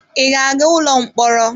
Ị ga-aga n'ụlọ mkpọrọ?